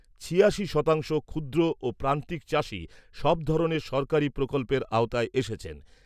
ছিয়াশি শতাংশ ক্ষুদ্র ও প্রান্তিক চাষী সব ধরনের সরকারী প্রকল্পের আওতায় এসেছেন।